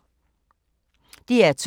DR2